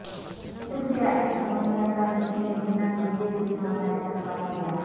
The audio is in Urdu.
شکریہ اس سمندر کا جس نے بنا ویزے کے ہمارا استقبال کیا